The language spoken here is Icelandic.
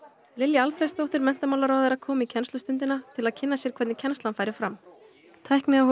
Lilja Alfreðsdóttir menntamálaráðherra kom í kennslustundina til að kynna sér hvernig kennslan færi fram